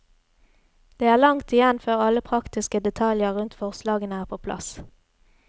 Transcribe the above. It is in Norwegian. Det er langt igjen før alle praktiske detaljer rundt forslagene er på plass.